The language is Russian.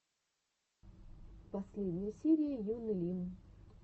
последняя серия юны лим